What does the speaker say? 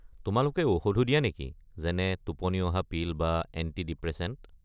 তোমালোকে ঔষধো দিয়া নেকি, যেনে টোপনি অহা পিল বা এণ্টি-ডিপ্রেছেণ্ট?